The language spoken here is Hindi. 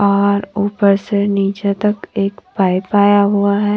और ऊपर से नीचे तक एक पाइप आया हुआ है।